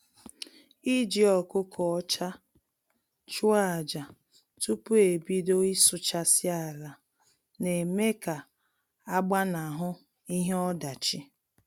Iji ọkụkọ ọcha chụọ aja tupu e bido ịsụchasị ala na-eme ka a gbanahụ ihe ọdachi